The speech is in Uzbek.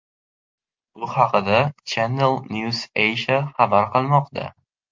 Bu haqda Channel NewsAsia xabar qilmoqda .